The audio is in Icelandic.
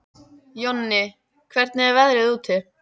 Jonni, hvernig er veðrið úti?